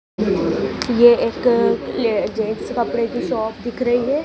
ये एक ले जेंस कपड़े की शॉप दिख रही है।